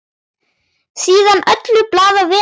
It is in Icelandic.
Síðan öllu blandað vel saman.